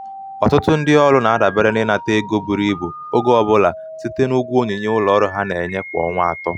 ọtụtụ ndị ọrụ na-adabere n’ịnata ego buru ibu oge ọ bụla site n’ụgwọ onyinye ụlọ ọrụ ha na-enye kwa ọnwa atọ.